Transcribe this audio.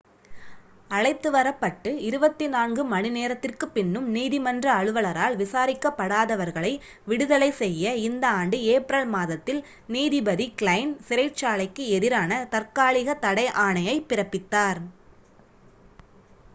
அழைத்து வரப்பட்டு 24 மணிநேரத்திற்குப் பின்னும் நீதிமன்ற அலுவலரால் விசாரிக்கப்படாதவர்களை விடுதலை செய்ய இந்த ஆண்டு ஏப்ரல் மாதத்தில் நீதிபதி க்லைன் சிறைச்சாலைக்கு எதிரான தாற்காலிக தடை ஆணையைப் பிறப்பித்தார்